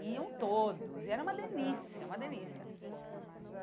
Iam todos, e era uma delícia, uma delícia.